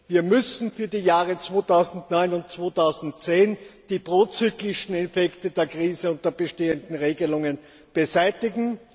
Wir müssen für die Jahre 2009 und 2010 die prozyklischen Effekte der Krise und der bestehenden Regelungen beseitigen.